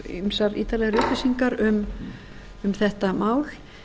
ýmsar ítarlegri upplýsingar um þetta mál